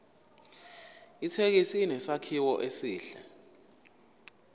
ithekisi inesakhiwo esihle